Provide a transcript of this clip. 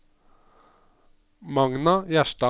Magna Gjerstad